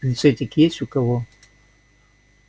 так пинцетик есть у кого